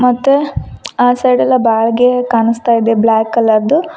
ಮತ್ತೆ ಆ ಸೈಡ್ ಎಲ್ಲ ಬಾಳ್ಗೆ ಕಾಣಿಸ್ತಾ ಇದೆ ಬ್ಲಾಕ್ ಕಲರ್ದು.